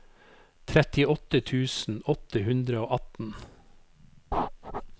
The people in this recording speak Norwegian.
trettiåtte tusen åtte hundre og atten